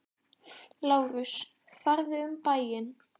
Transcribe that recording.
LÁRUS: Farðu um bæinn!